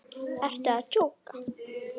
Ertu að djóka!?